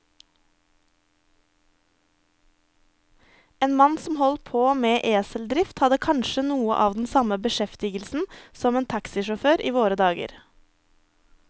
En mann som holdt på med eseldrift, hadde kanskje noe av den samme beskjeftigelse som en taxisjåfør i våre dager.